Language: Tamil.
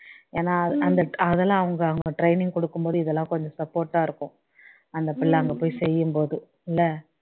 ஏன்னா அந்த அதெல்லாம் அவங்க அவங்க training கொடுக்கும் போது இதெல்லாம் கொஞ்சம் support டா இருக்கும் அந்த பிள்ளை அங்க போய் செய்யும் போது இல்ல